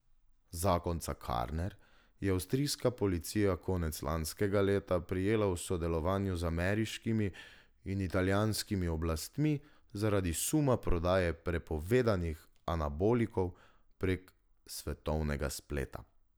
Zakonca Karner je avstrijska policija konec lanskega leta prijela v sodelovanju z ameriškimi in italijanskimi oblastmi zaradi suma prodaje prepovedanih anabolikov prek svetovnega spleta.